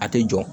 A tɛ jɔ